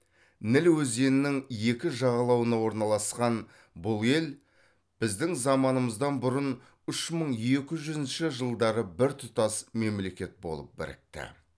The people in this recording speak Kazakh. ніл өзенінің екі жағалауына орналасқан бұл ел біздің заманымыздан бұрын үш мың екі жүзінші жылдары біртұтас мемлекет болып бірікті